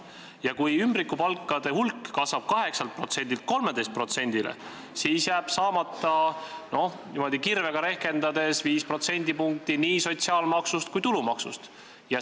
Ja kui ümbrikupalkade maksmine on kasvanud 8%-lt 13%-le, siis jääb n-ö kirvega rehkendades saamata viis protsendipunkti nii sotsiaalmaksust kui tulumaksust.